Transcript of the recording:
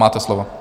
Máte slovo.